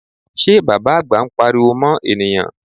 Ṣé Bàbá àgbà ń pariwo mọ́ ènìyàn?